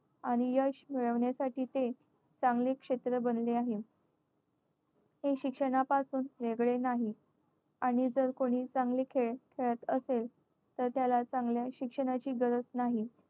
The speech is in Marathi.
आणि यश मिळवण्यासाठी ते चांगले क्षेत्र बनले आहे. हे शिक्षणापासून वेगळे नाही. आणि जर कोणी चांगले खेळ खेळत असेल तर त्याला चांगल्या शिक्षणाची गरज नाही.